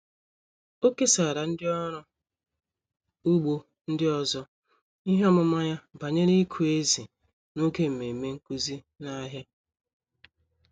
Ọ kesara ndị ọrụ ugbo ndị ọzọ ihe ọmụma ya banyere ịkụ ezì n'oge mmemme nkuzi n'ahịa.